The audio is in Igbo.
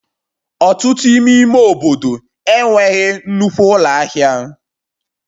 Ọtụtụ n'ime ime obodo enweghị nnukwu ụlọ ahịa